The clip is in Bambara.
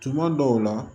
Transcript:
Tuma dɔw la